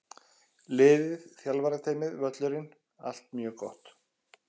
Liðið, þjálfarateymið, völlurinn- allt mjög gott!